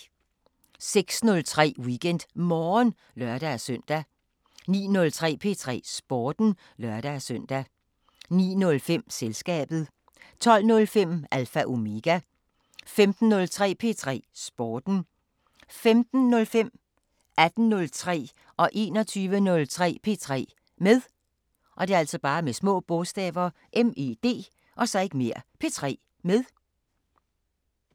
06:03: WeekendMorgen (lør-søn) 09:03: P3 Sporten (lør-søn) 09:05: Selskabet 12:05: Alpha Omega 15:03: P3 Sporten 15:05: P3 med 18:03: P3 med 21:03: P3 med